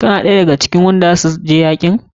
Kana ɗaya da ga cikin wanda za su je yakin?